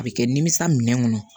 A bɛ kɛ nimisi minɛ ŋɔnɔ